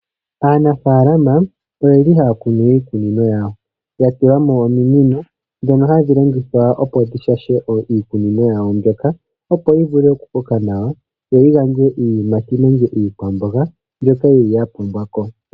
Aanafaalama oyeli haya kunu iikunino yawo, yatulamo ominino dhono hadhi longithwa opo dhishashe iikunino yawo mbyoka opo yivule okukoka nawa yo yigandje iiyimati nenge iikwamboga, mbyoka yeli yapumbwako.